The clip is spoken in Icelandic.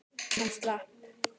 Hann slapp.